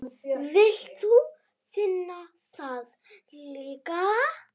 Vilt þú finna það líka?